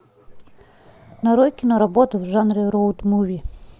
нарой киноработу в жанре роуд муви